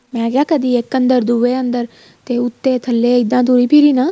ਮੈਂ ਕਿਹਾ ਕਦੀਂ ਇੱਕ ਅੰਦਰ ਦੂਹੇ ਅੰਦਰ ਤੇ ਉੱਥੇ ਥੱਲੇ ਇੱਦਾਂ ਤੁਰੀ ਫਿਰੀ ਨਾ